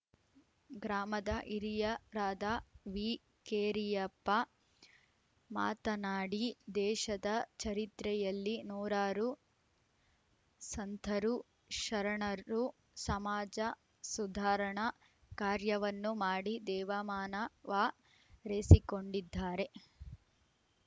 ಗ್ರಾಮದ ಹಿರಿಯರಾದ ವಿಕೆರೆಯಪ್ಪ ಮಾತನಾಡಿ ದೇಶದ ಚರಿತ್ರೆಯಲ್ಲಿ ನೂರಾರು ಸಂತರು ಶರಣರು ಸಮಾಜ ಸುಧಾರಣಾ ಕಾರ್ಯವನ್ನು ಮಾಡಿ ದೇವಮಾನವ ರೆಸಿಕೊಂಡಿದ್ದಾರೆ